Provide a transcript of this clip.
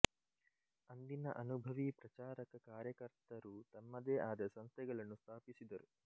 ಅಂದಿನ ಅನುಭವಿ ಪ್ರಚಾರಕ ಕಾರ್ಯಕರ್ತರು ತಮ್ಮದೇ ಆದ ಸಂಸ್ಥೆಗಳನ್ನು ಸ್ಥಾಪಿಸಿದರು